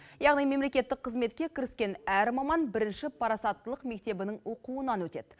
яғни мемлекеттік қызметке кіріскен әр маман бірінші парасаттылық мектебінің оқуынан өтеді